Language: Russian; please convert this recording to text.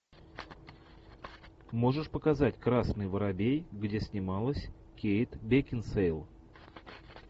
можешь показать красный воробей где снималась кейт бекинсейл